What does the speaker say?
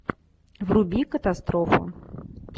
вруби катастрофу